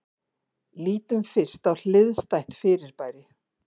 Lítum fyrst á hliðstætt fyrirbæri.